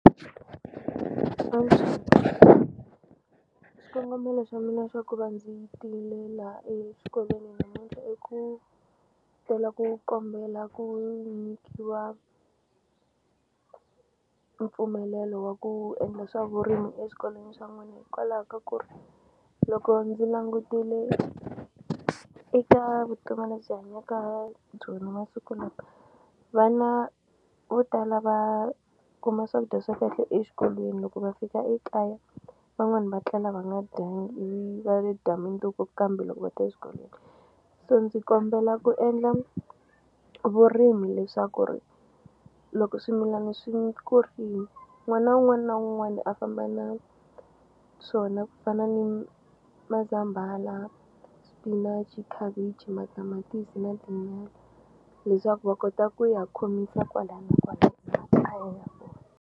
xikongomelo xa mina xa ku va ndzi tile laha exikolweni namuntlha i ku tela ku kombela ku nyikiwa mpfumelelo wa ku endla swa vurimi eswikolweni swa n'wina hikwalaho ka ku ri loko ndzi langutile eka vutomi lebyi hanyaka byona masiku lawa vana vo tala va kuma swakudya swa kahle exikolweni loko va fika ekaya van'wani va tlela va nga dyangi ivi va ve dya mindzuku kambe loko va ta exikolweni so ndzi kombela ku endla vurimi leswaku ri loko swimilani swi kurile n'wana na wun'wani na un'wani a famba na swona ku fana ni mazambhala spinach khavichi matamatisi na tinyala leswaku va kota ku ya khomisa kwalaya na kwalaya kona.